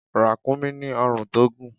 Ràkúnmí ní ọ̀run tó gùn.